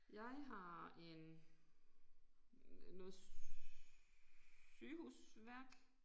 Jeg har en noget sygehusværk